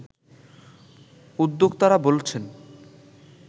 উদ্যোক্তারা বলছেন